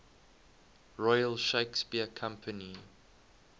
royal shakespeare company